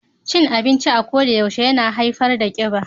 Cin abinci a kodayaushe yana haifar da kiba.